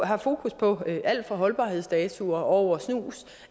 har fokus på alt fra holdbarhedsdato over snus